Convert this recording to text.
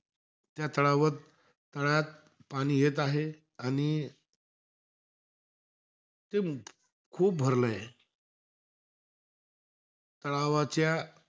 त्या तळावर तळ्यात पाणी येत आहे. आणि ते खूप भरलं आहे. तळावाच्या,